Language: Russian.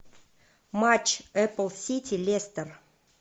матч апл сити лестер